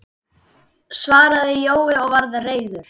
svaraði Jói og var reiður.